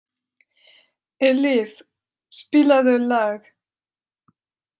Ellís, spilaðu lag.